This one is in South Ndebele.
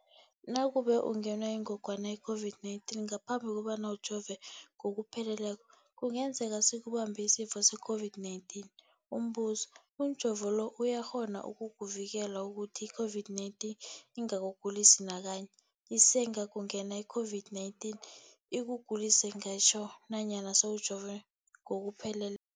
Nakube ungenwe yingogwana i-COVID-19 ngaphambi kobana ujove ngokupheleleko, kungenzeka sikubambe isifo se-COVID-19. Umbuzo, umjovo lo uyakghona ukukuvikela ukuthi i-COVID-19 ingakugulisi nakanye? Isengakungena i-COVID-19 ikugulise ngitjho nanyana sewujove ngokuphele